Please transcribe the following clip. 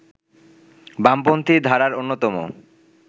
বামপন্থী ধারার অন্যতম